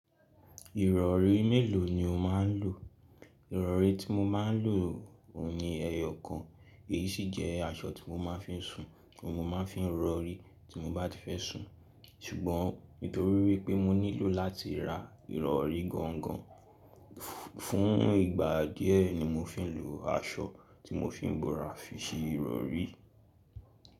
Ìrọ̀rí mélòó ni o máa ń lò? Ìrọ̀rí tí mo máa ń lò òun ní ẹyọ kan. Èyí sì jẹ́ aṣọ tí mo máa ń fi ń sùn tí mo máa ń fi ń rọ̀rí tí mo bá ti fẹ́ sùn. Ṣùgbọ́n nítorí wípé mo nílò láti ra ìrọ̀rí gangan, fún ìgbà díẹ̀ ni mo fi ń lo aṣọ tí mo fi ń bọra fi ṣe ìrọ̀rí.